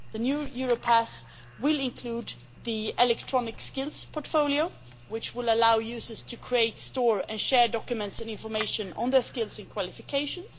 The new Europass will include the electronic skills portfolio, which will allow users to create, store and share documents and information on their skills and qualifications.